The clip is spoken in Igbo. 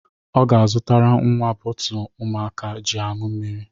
Ọ ga-azụtara nnwa bọọtụ ụmụaka ji añu mmiri.